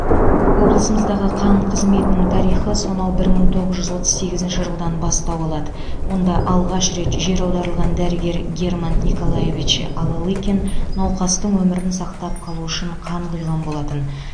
облысымыздағы қан қызметінің тарихы сонау бір мың тоғыз жүз отыз сегізінші жылдан бастау алады онда алғаш рет жер аударылған дәрігер герман николаевич алалыкин науқастың өмірін сақтап қалу үшін қан құйған болатын